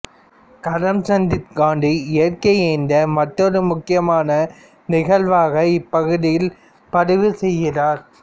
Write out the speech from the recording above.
கரம்சந்த் காந்தி இயற்கை எய்ததை மற்றொரு முக்கியமான நிகழ்வாக இப்பகுதியில் பதிவு செய்கிறார்